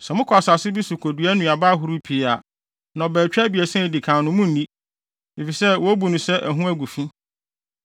“ ‘Sɛ mokɔ asase bi so kodua nnuaba ahorow pii a, nnɔbaetwa abiɛsa a edi kan no, munnni, efisɛ wobu no sɛ ɛho agu fi.